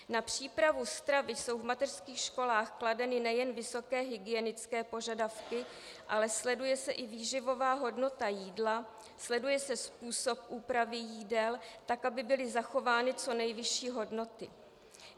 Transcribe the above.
Na přípravu stravy jsou v mateřských školách kladeny nejen vysoké hygienické požadavky, ale sleduje se i výživová hodnota jídla, sleduje se způsob úpravy jídel, tak aby byly zachovány co nejvyšší hodnoty.